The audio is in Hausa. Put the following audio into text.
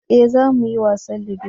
eh za mu yi wasan ludo